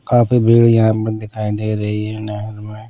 काफी भीड़ यहाँ पर दिखाई दे रही है नहर में।